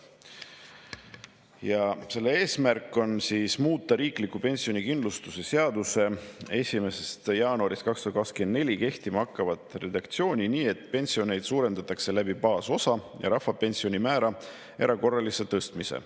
Ja selle eesmärk on muuta riikliku pensionikindlustuse seaduse 1. jaanuarist 2024 kehtima hakkavat redaktsiooni nii, et pensione suurendatakse baasosa ja rahvapensioni määra erakorralise tõstmisega.